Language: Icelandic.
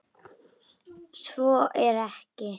Svo er ekki.